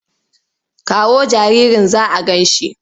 Kawo jaririn za a gan shi!